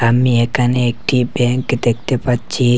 আমি এখানে একটি ব্যাঙ্ক দেখতে পাচ্ছি।